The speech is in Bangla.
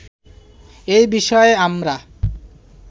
এ বিষয়ে আমরা